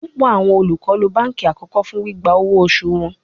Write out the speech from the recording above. Pupọ awọn olukọ lo banki akọkọ fun gbigba owo osu wọn